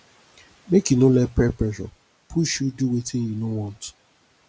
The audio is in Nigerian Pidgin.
make you no let peer pressure push you do wetin you no want